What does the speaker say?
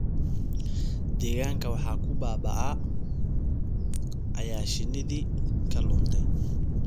Deegaanka waxaa ku baaba�aya shinnidii ka luntay.